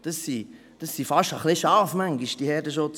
Diese Herdenschutzhunde sind manchmal fast ein wenig Schafe.